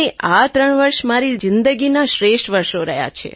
આ ત્રણ વર્ષ મારી જિંદગીનાં શ્રેષ્ઠ વર્ષો રહ્યાં છે